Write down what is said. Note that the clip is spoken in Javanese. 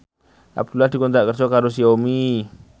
Abdullah dikontrak kerja karo Xiaomi